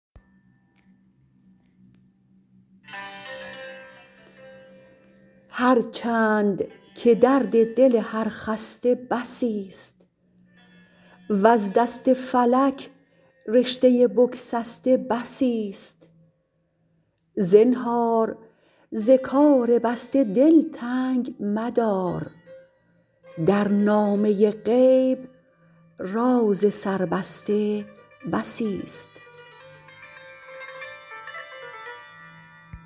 هرچند که درد دل هر خسته بسیست وز دست فلک رشته بگسسته بسیست زنهار ز کار بسته دل تنگ مدار در نامه غیب راز سربسته بسیست